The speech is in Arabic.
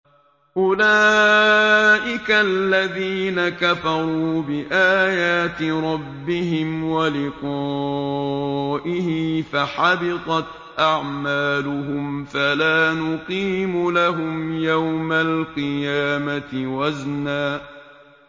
أُولَٰئِكَ الَّذِينَ كَفَرُوا بِآيَاتِ رَبِّهِمْ وَلِقَائِهِ فَحَبِطَتْ أَعْمَالُهُمْ فَلَا نُقِيمُ لَهُمْ يَوْمَ الْقِيَامَةِ وَزْنًا